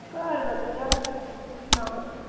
ਘਰ ਵਧੀਆ ਆ ਸਭ ਤੂੰ ਸੁਣਾ।